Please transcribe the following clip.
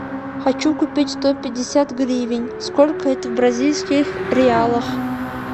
хочу купить сто пятьдесят гривен сколько это в бразильских реалах